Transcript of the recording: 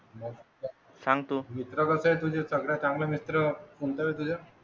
सांगतो. मित्र आहे तो जे सगळ्यात चांगला मित्र कोणत्या?